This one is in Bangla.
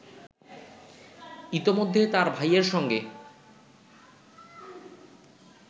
ইতোমধ্যে তার ভাইয়ের সঙ্গে